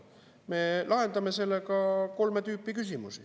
Me lahendame sellega kolme tüüpi küsimusi.